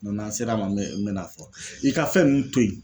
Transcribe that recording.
N'an sera a ma n bɛ na fɔ i ka fɛn ninnu to yen